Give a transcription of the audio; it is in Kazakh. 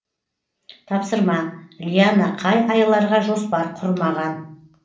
тапсырма лиана қай айларға жоспар құрмаған